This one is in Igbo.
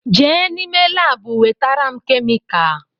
Je n’ime laabu wetara m kemika